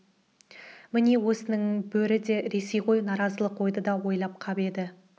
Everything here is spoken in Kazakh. міне осының бөрі де ресей ғой наразылық ойды да ойлап қап еді